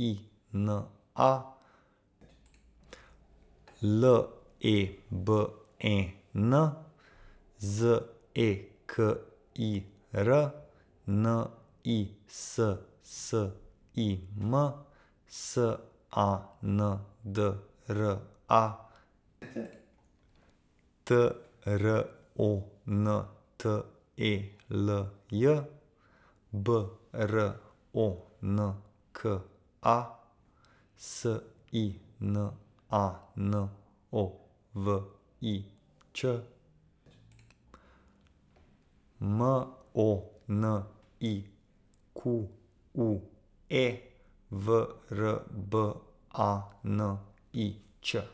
I N A, L E B E N; Z E K I R, N I S S I M; S A N D R A, T R O N T E L J; B R O N K A, S I N A N O V I Ć; M O N I Q U E, V R B A N I Č.